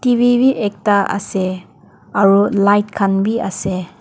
TV vhi ekta ase aro light khan bhi ase.